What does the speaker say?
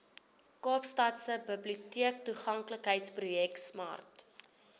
kaapstadse biblioteektoeganklikheidsprojek smart